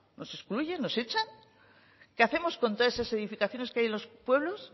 nos excluye nos hecha qué hacemos con todas esas edificaciones que hay en los pueblos